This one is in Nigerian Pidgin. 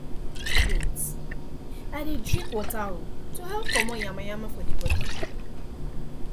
wait i dey drink water um to help comot yamayama for the body